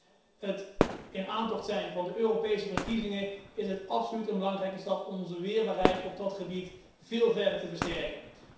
Met het in aantocht zijn van de Europese verkiezingen is het absoluut een belangrijke stap om onze weerbaarheid op dat gebied veel verder te versterken.